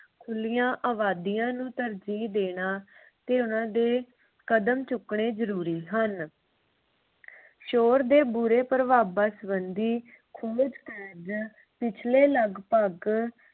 ਖੁਲੀਆਂ ਅਬਾਦੀਆਂ ਨੂੰ ਤਰਜੀਹ ਦੇਣਾ ਤੇ ਉਨ੍ਹਾਂ ਦੇ ਕਦਮ ਚੁੱਕਣੇ ਜਰੂਰੀ ਹਨ। ਸ਼ੋਰ ਦੇ ਬੁਰੇ ਪ੍ਰਭਾਵਾਂ ਸੰਬੰਧੀ ਖੋਜ ਕਾਰਜ ਪਿਛਲੇ ਲਗਪਗ